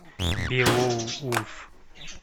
беовульф